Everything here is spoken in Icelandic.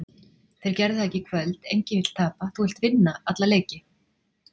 Þeir gerðu það ekki í kvöld. Enginn vill tapa, þú vilt vinna alla leiki.